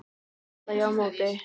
kalla ég á móti.